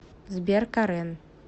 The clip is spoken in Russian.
сбер карен